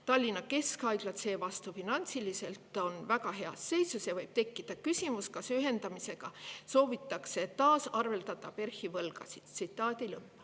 Tallinna keskhaiglad on seevastu finantsiliselt väga heas seisus ja võib tekkida küsimus, kas ühendamisega soovitakse tasaarveldada PERH‑i võlgasid.